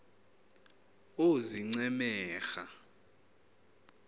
oozincemera